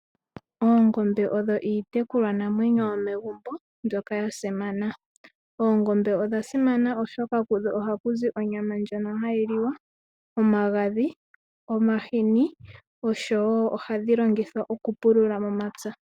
Oongombe odho iitekulwanamwenyo yomegumbo, mbyoka ya simana. Oongombe odha simana, oshoka kudho ohaku zi onyama ndjoka ha yi liwa, omagadhi, omahini osho wo ohadhi longithwa okupulula momapya.